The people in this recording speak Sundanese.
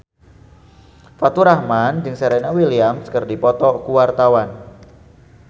Faturrahman jeung Serena Williams keur dipoto ku wartawan